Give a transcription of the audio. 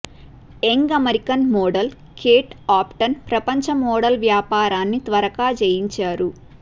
young American model Kate Upton ప్రపంచ model వ్యాపారాన్ని త్వరగా జయించారు